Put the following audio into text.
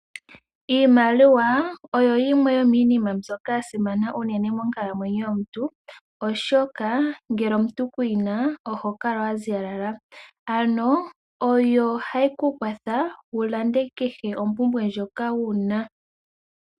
Iimaliwa oyo yimwe yominima myboka yasimana unene monkalamyenyo yomuntu, oshoka ngele omuntu kuyina ohokala waziyalala. Oyo hayi kukwatha wulande kehe ompumbwe ndjoka wuna.